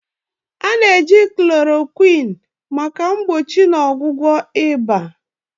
A na-eji Chloroquine maka mgbochi na ọgwụgwọ ịba.